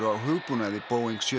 hugbúnaði Boeing sjö